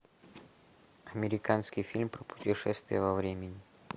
американский фильм про путешествие во времени